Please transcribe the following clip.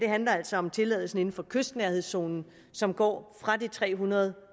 handler altså om tilladelsen inden for kystnærhedszonen som går fra de tre hundrede